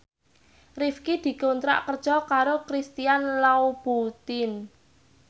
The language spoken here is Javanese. Rifqi dikontrak kerja karo Christian Louboutin